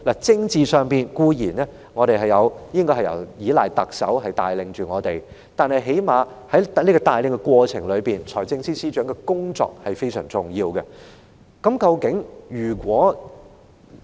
政治上，固然我們應該依賴特首帶領我們，但是，在特首帶領的過程中，財政司司長的工作也非常重要的。